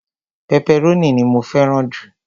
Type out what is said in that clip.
pẹpẹrónì ni mó fẹràn ju